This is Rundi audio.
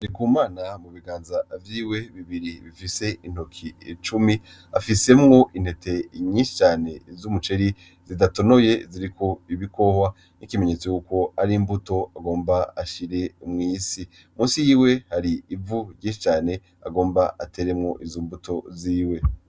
Ndikumana mu biganza vyiwe bibiri bifise intoki icumi, afisemwo intete nyinshi cane z'umuceri zidatonoye ziriko ibikohwa nk' ikimenyetso ko ari imbuto agomba ashire mw'isi, musi yiwe hari ivu ryinshi cane agomba ateremwo izo mbuto ziwe.